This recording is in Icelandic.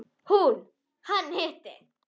Hún: Hann hitti.